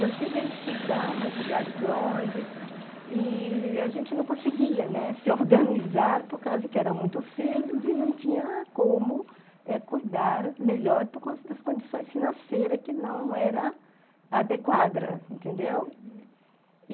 Eu cheguei a estudar a mais lugares longe e a gente não conseguia, né, se organizar por causa que era muito filhos e não tinha como eh cuidar melhor por causa das condições financeiras que não era adequada, entendeu? uhum.